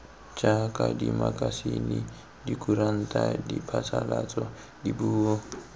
jaaka dimakasine dikuranta diphasalatso dipuo